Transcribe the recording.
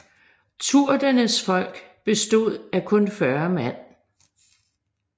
Turdurnes folk bestod af kun 40 mand